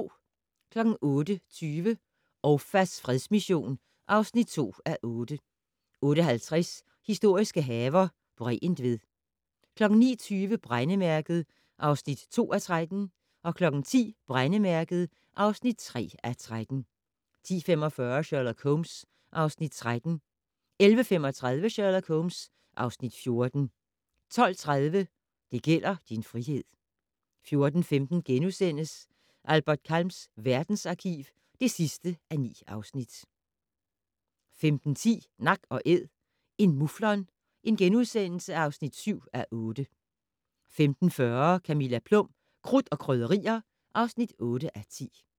08:20: Ouafas fredsmission (2:8) 08:50: Historiske haver - Bregentved 09:20: Brændemærket (2:13) 10:00: Brændemærket (3:13) 10:45: Sherlock Holmes (Afs. 13) 11:35: Sherlock Holmes (Afs. 14) 12:30: Det gælder din frihed 14:15: Albert Kahns verdensarkiv (9:9)* 15:10: Nak & Æd - en muflon (7:8)* 15:40: Camilla Plum - Krudt og Krydderier (8:10)